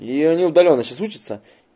и они удалённо сейчас учатся